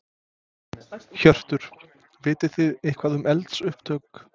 Hjörtur: Vitið þið eitthvað um eldsupptök?